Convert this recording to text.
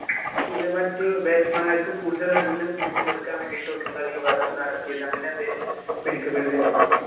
പിന്നെ മറ്റു batsman മാർക്ക് കൂടുതൽ run വിറ്റുകൊടുക്കാൻ വേണ്ടീട്ട് ഒത്തുകളി വിവാദൊക്കെ നടത്തിയത് അങ്ങനെ അദ്ദേഹം പിടിക്കപ്പെടുകയായിരുന്നു